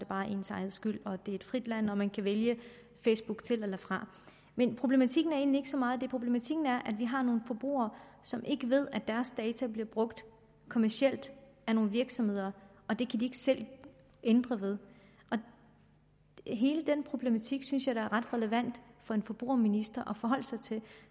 bare ens egen skyld for det er et frit land hvor man kan vælge facebook til eller fra men problematikken er egentlig ikke så meget det problematikken er at vi har nogle forbrugere som ikke ved at deres data bliver brugt kommercielt af nogle virksomheder og det kan de selv ændre ved hele den problematik synes jeg da er ret relevant for en forbrugerminister at forholde sig til